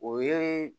O ye